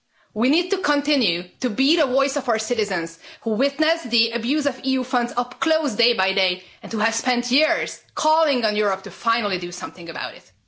We need to continue to be the voice of our citizens who witnessed the abuse of EU funds up close day by day and who have spent years calling on Europe to finally do something about it.